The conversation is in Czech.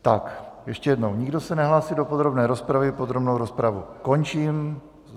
Tak ještě jednou, nikdo se nehlásí do podrobné rozpravy, podrobnou rozpravu končím.